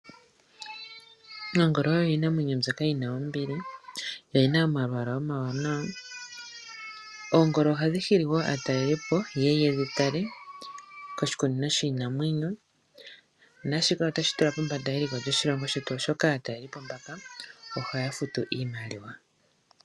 Ongolo oyo iinamwenyo mbyoka yina ombili . Oyina omalwaala omawanawa. Oongolo ohadhi hili aatalelipo , yeye yedhitale koshikunino shiinamwenyo, naashika otashi tula eliko lyoshilongo shetu pombanda, molwaashoka aatalelipo mbaka ohaya futu iimaliwa.